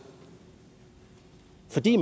fordi